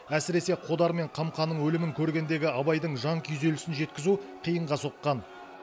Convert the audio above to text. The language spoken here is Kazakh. әсіресе қодар мен қамқаның өлімін көргендегі абайдың жан күйзелісін жеткізу қиынға соққан